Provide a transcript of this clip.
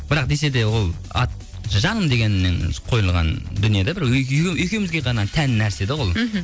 бірақ десе де ол ат жаным дегеннен қойылған дүние де бір екеуімізге ғана тән нәрсе де ол мхм